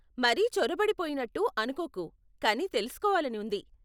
మరీ చొరబడి పోయినట్టు అనుకోకు కానీ తెలుసుకోవాలని ఉంది.